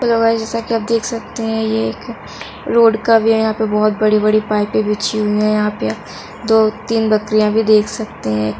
Hello guys जैसा कि आप देख सकते हैं यहां पे रोड का व्यू है यहाँ पर बहुत बड़ी -बड़ी पाइप बिछी हुई है यहाँ पर दो-तीन बकरियां भी देख सकते हैं।